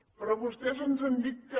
però vostès ens han dit que